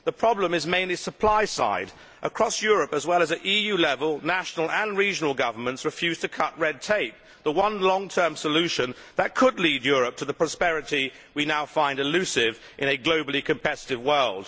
The problem is mainly the supply side. Across Europe, as well as at EU level, national and regional governments refuse to cut red tape, the one long term solution that could lead Europe to the prosperity we now find elusive in a globally competitive world.